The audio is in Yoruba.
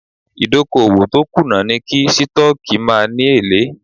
Ìdókòwò tó kùnà ni kí Sítọ́ọ́kì má ni èlé.